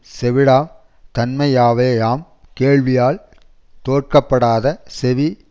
செவிடாம் தன்மையவேயாம் கேள்வியால் தோட்கப்படாத செவி